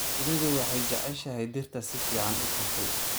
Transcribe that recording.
Shinnidu waxay jeceshahay dhirta si fiican u kortay.